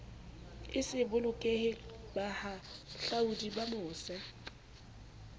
e se bolokehe bahahlaodi bamose